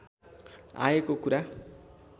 आएको कुरा